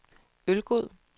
Ølgod